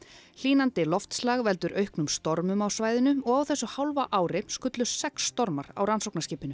hlýnandi loftslag veldur auknum stormum á svæðinu og á þessu hálfa ári skullu sex stormar á rannsóknarskipinu